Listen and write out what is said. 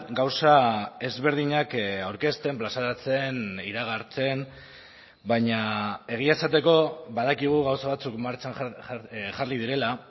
gauza ezberdinak aurkezten plazaratzen iragartzen baina egia esateko badakigu gauza batzuk martxan jarri direla